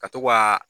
Ka to ka